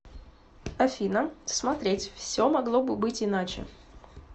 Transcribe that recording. афина смотреть все могло бы быть иначе